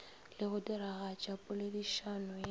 le go diragatša poledišano ye